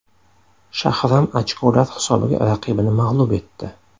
Shahram ochkolar hisobiga raqibini mag‘lub etdi.